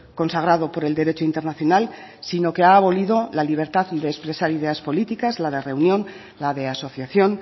consagrado por el derecho internacional sino que ha abolido la libertad de expresar ideas políticas la de reunión la de asociación